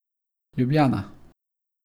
Ljubljana.